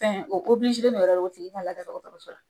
o de yɛrɛ tigi ka lada dɔkɔtɔrɔso la